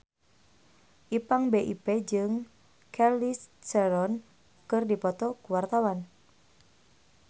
Ipank BIP jeung Charlize Theron keur dipoto ku wartawan